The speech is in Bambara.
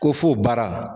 Ko fo baara